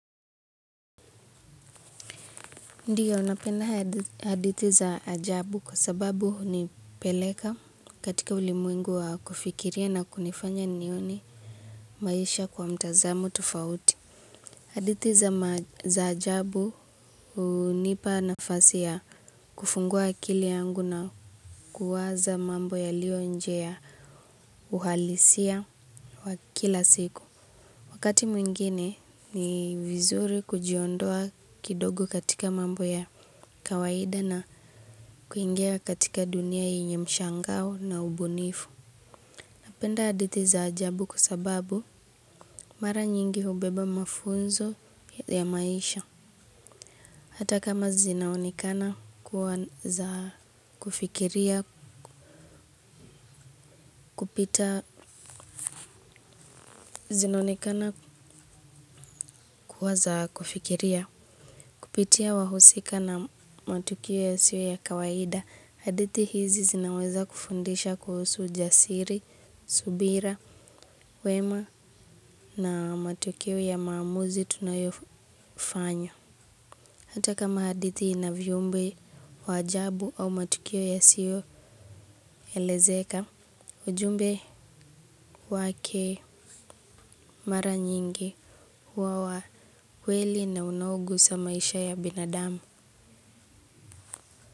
Ndiyo napenda hadithi za ajabu kwa sababu hunipeleka katika ulimwengu wa kufikiria na kunifanya nione maisha kwa mtazamo tofauti. Hadithi za ajabu hunipa nafasi ya kufungua akili yangu na kuwaza mambo yalionje ya uhalisia wa kila siku. Wakati mwingine ni vizuri kujiondoa kidogo katika mambo ya kawaida na kuingia katika dunia yenye mshangao na ubunifu. Napenda hadithi za ajabu kwa sababu mara nyingi hubeba mafunzo ya maisha. Hata kama zinaonekana kuwa za kufikiria kupitia wahusika na matukiwe yasiyo ya kawaida. Hadithi hizi zinaweza kufundisha kuhusu jasiri, subira, wema na matukio ya mamuzi tunayofanya. Hata kama hadithi ina viumbe wa sjabu au matukio yasiyoelezeka, ujumbe wake mara nyingi huwa wa kweli na unaogusa maisha ya binadami.